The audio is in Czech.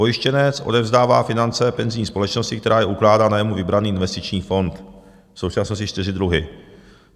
Pojištěnec odevzdává finance penzijní společnosti, která je ukládá na jemu vybraný investiční fond - v současnosti čtyři druhy.